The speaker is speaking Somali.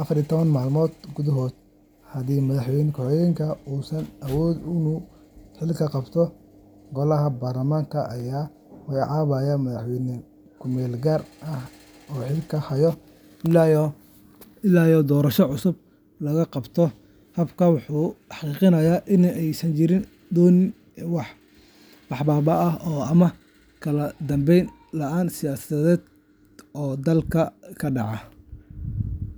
afar iyo toban maalmood gudahood. Haddii Madaxweynaha ku-xigeenka uusan awoodin inuu xilka qabto, Golaha Baarlamaanka ayaa magacaabaya madaxweyne ku meel gaar ah oo xilka haya ilaa doorasho cusub la qabto. Habkani wuxuu xaqiijiyaa in aysan jiri doonin wax baaba’ ah ama kala dambeyn la’aan siyaasadeed oo dalka ka dhacda.